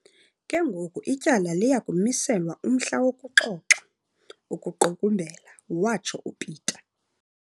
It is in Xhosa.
"Ke ngoku ityala liya kumiselwa umhla wokuxoxa," ukuqukumbela watsho uPeta.